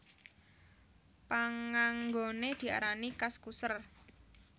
Panganggoné diarani Kaskuser